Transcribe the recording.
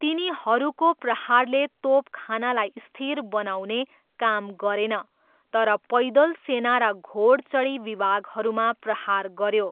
तिनीहरूको प्रहारले तोपखानालाई स्थिर बनाउने काम गरेन तर पैदल सेना र घोडचढी विभागहरूमा प्रहार गऱ्यो।